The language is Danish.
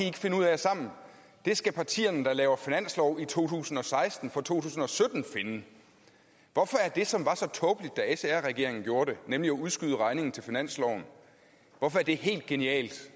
ikke finde ud af sammen det skal partierne der laver finanslov i to tusind og seksten for to tusind og sytten finde hvorfor er det som var så tåbeligt da sr regeringen gjorde det nemlig at udskyde regningen til finansloven helt genialt